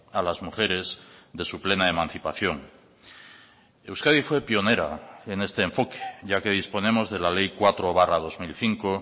a las mujeres de su plena emancipación euskadi fue pionera en este enfoque ya que disponemos de la ley cuatro barra dos mil cinco